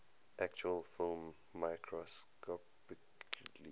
actual film microscopically